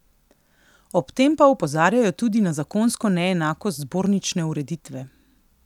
Ob tem pa opozarjajo tudi na zakonsko neenakost zbornične ureditve.